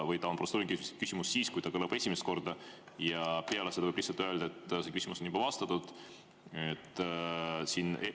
Või ta on protseduuriline küsimus siis, kui ta kõlab esimest korda ja peale seda võib lihtsalt öelda, et see küsimus on juba vastatud?